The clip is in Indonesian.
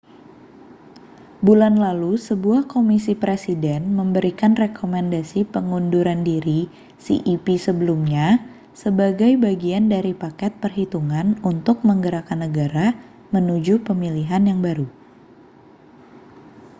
bulan lalu sebuah komisi presiden memberikan rekomendasi pengunduran diri cep sebelumnya sebagai bagian dari paket perhitungan untuk menggerakkan negara menuju pemilihan yang baru